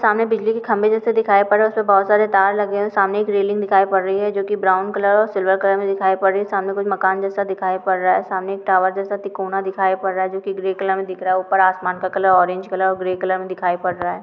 सामने बिजली के खम्बें जैसा दिखाई पड़ रहा है उसपे बहुत सारे तार लगे है सामने एक रेलिंग दिखाई पड़ रही है जो की ब्राउन कलर और सिल्वर कलर में दिखाई पड़ रहा है सामने कुछ मकान जैसा दिखाई पड़ रहा है सामने एक टॉवर जैसा त्रिकोण दिखाई पड़ रहा है जो की ग्रे कलर दिख रहा है ऊपर आसमान कलर ऑरेंज कलर और ग्रे कलर में दिखाई पड़ रहा है।